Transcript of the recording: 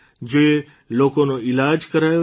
જે લોકોનો ઇલાજ કરાયો છે